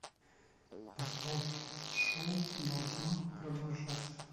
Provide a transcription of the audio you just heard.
поставь шоу должно продолжаться